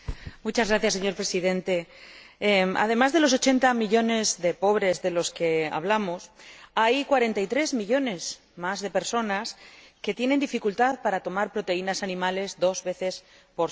Señor Presidente, además de los 80 millones de pobres de los que hablamos, hay otros 43 millones de personas que tienen dificultad para tomar proteínas animales dos veces por semana.